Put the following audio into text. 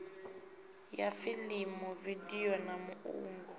ya fiḽimu vidio na muungo